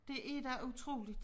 Det er da utroligt